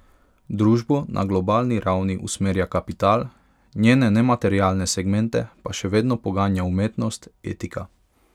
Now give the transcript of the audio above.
Družbo na globalni ravni usmerja kapital, njene nematerialne segmente pa še vedno poganja umetnost, etika.